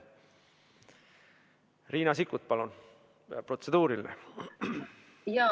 Riina Sikkut, palun, protseduuriline küsimus!